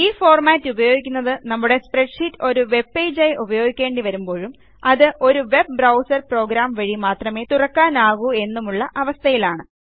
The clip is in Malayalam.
ഈഫോർമാറ്റ് ഉപയോഗിക്കുന്നത് നമ്മുടെ സ്പ്രെഡ്ഷീറ്റ് ഒരു വെബ്പേജ് ആയി ഉപയോഗിക്കേണ്ടി വരുമ്പോഴും അത് ഒരു വെബ് ബ്രൌസർ പ്രോഗ്രാം വഴി മാത്രമേ തുറക്കാനാകൂ എന്നുമുള്ള അവസ്ഥയിലാണ്